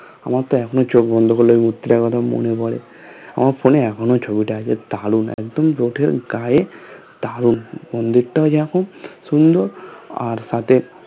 আমরাতো এখনো চোখ বন্ধ করলে মূর্তি লাগানো মনে পড়ে আমার phone এ এখনো ছবিটা আছে দারুন একদম পথের গায়ে দারুন মন্দিরটাও যেরকম সুন্দর আর সাথে